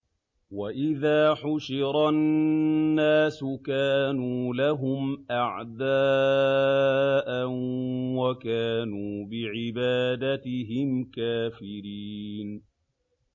وَإِذَا حُشِرَ النَّاسُ كَانُوا لَهُمْ أَعْدَاءً وَكَانُوا بِعِبَادَتِهِمْ كَافِرِينَ